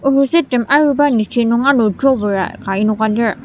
ohetsüet rem ayuba niji nung ano drawer a ka enoka lir.